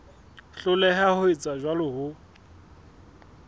hloleha ho etsa jwalo ho